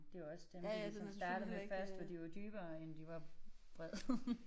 Det jo også dem de ligesom startede med. Først var de jo dybere end de var brede